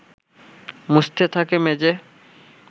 মুছতে থাকে মেঝে